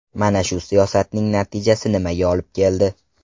Mana shu siyosatning natijasi nimaga olib keldi?